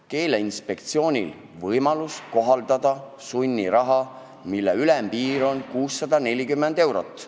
Keeleinspektsioonil on sel juhul võimalik kohaldada sunniraha, mille ülemmäär on 640 eurot.